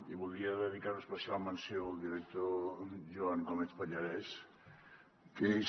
i voldria dedicar una especial menció al director joan gómez pallarès que és